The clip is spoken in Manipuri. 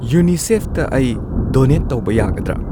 ꯌꯨꯅꯤꯁꯦꯐꯇ ꯑꯩ ꯗꯣꯅꯦꯠ ꯇꯧꯕ ꯌꯥꯒꯗ꯭ꯔꯥ?